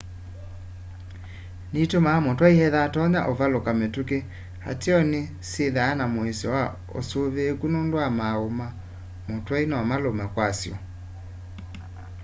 nitumaa mutwai ethwa atatonya uvaluka mituki ateo ni syithwaa na muisyo wa usuvííku nundu wa maúú ma mutwai nomalume kwasyo